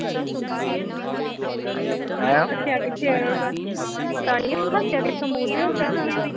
ਹੱਸਿਆ ਕਿਥੋ ਪਤਾ ਨੀ ਕਿਥੋ ਮੁੰਹ ਤੇ ਹੱਸਿਆ ਹੋਣਾ